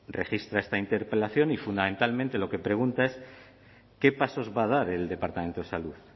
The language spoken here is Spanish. registra esta interpelación y fundamentalmente lo que pregunta es qué pasos va a dar el departamento de salud